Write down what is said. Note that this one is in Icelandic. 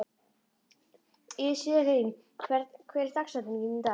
Íselín, hver er dagsetningin í dag?